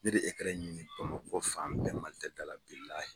Ne de ye ekaran ɲini Bamakɔ fan bɛɛ Malitɛlida la, bilaahi.